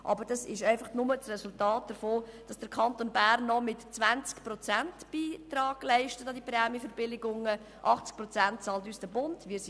Aber das ist das Resultat davon, dass der Kanton Bern nur 20 Prozent an die Prämienverbilligungen beiträgt und uns der Bund 80 Prozent bezahlt.